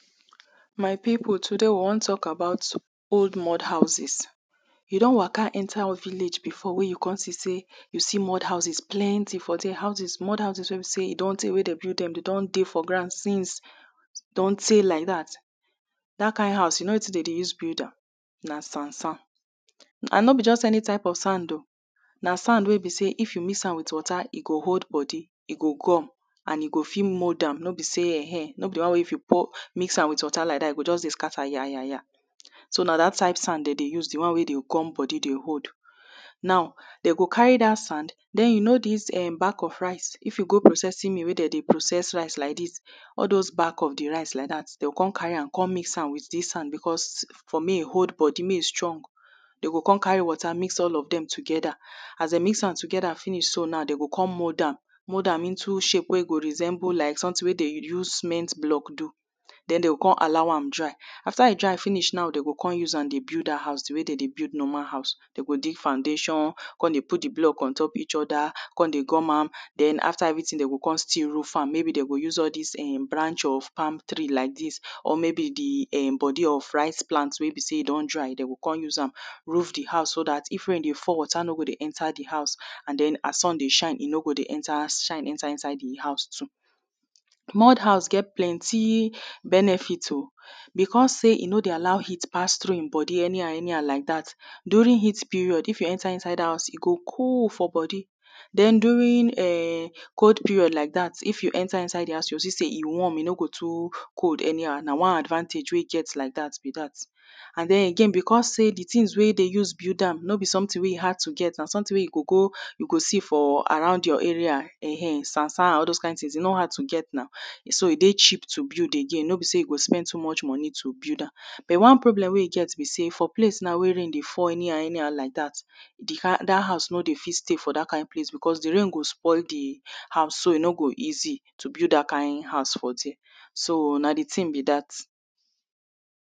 My pipu today we wan talk about old mud houses You don Waka enter village before wey you come see sey mud houses plenty for there, mud houses wey be sey e don plenty wey den build dem, dem don dey for ground since din try like that, that kind house, you know wetin den dey take build am? Na sand sand And no be just any type of sand o na sand dey be sey if you mix am with water, e go hold bodi, e go gum, and you go fit mold am, no be sey, ehe, no be di wan wey if you mix am with water like that e go just dey scatter yayaya So na dat type sand dem dey use dey one wey dey gum body dey hold now dem go carry dat sand den you know dis uhm bag of rice if you go processing mill wey dem dey process rice like dis all those bag of the rice like dat dey go come carry am come mix am with dis sand because for mek e hold body mek e strong dem go come carry water mix all of dem together as dem mix am together dem go come mold am mold am into shape wey e go resemble like something wey dem use cement block do after dem go allow am dry after dem dry am finish now dem go come use am dey build dat house di way dem dey build normal house dey go dig foundation come dey put di block untop each oda come dey gum am den after everything dem go come still roof am maybe dem go use all dis um branch of palm tree or maybe di um body of rice plant wey be sey e don dry roof di house so dat if rain dey fall water no go enta di house and den as sun di shine e no go di enta e no go di shine enta di house too mud house get plenty benefit o because sey e no dey allow heat pass through him body anyhow anyhow during heat period wen you enta inside house e go cold for body den during um cold period like dat if you enta inside di house you go see sey e warm, e no go too cold anyhow na one advantage wey e get like dat be dat and den again because sey di thing wey dem use build am no be something wey e hard to get no be something wey you go go you go see for around your area[um]sand sand and all those kin things e no hard to get na so e dey cheap to build again no be sey you go spend too much money to build am but one problem wey e get be sey for place now wey rain dey fall anyhow anyhow like dat di kin dat house no dey fit stay for dat kin place because di rain go spoil di house so e no go easy to build dat kin house for there, so na di ting be dat